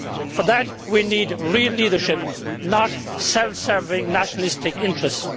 For that we need real leadership, not self serving, nationalistic interests.